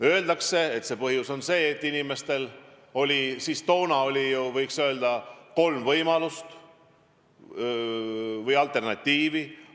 Öeldakse, et põhjus on see, et inimestel oli ju toona, võiks öelda, kolm võimalust ehk alternatiivi.